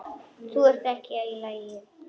Þú ert ekki í lagi.